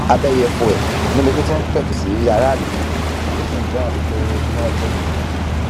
abẹyẹfọ ẹ níbi tó ti pẹtù sí aráàlú nínú tó sì n bẹ wọn wí pé kí wọn jẹ kí